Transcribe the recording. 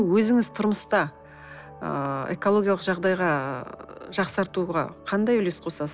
өзіңіз тұрмыста ыыы экологиялық жағдайға ыыы жақсартуға қандай үлес қосасыз